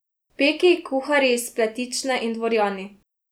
Peki, kuharji, spletične in dvorjani.